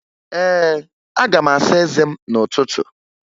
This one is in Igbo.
Ee, aga m asa eze m n'ụtụtụ